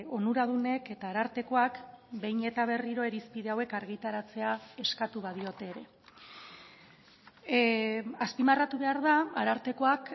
onuradunek eta arartekoak behin eta berriro irizpide hauek argitaratzea eskatu badiote ere azpimarratu behar da arartekoak